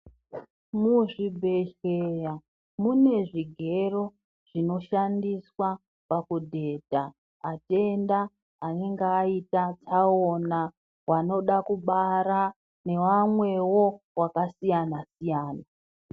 Muzvibhedhleya mune zvigero zvinoshandiswa pakudhedha atenda anenge aita tsaona vanoda kubara nevamwewo vakasiyana siyana.